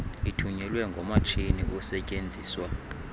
ithunyelwe ngomatshini osetyenziswa